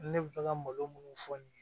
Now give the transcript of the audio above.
Ne bɛ fɛ ka malo minnu fɔ nin ye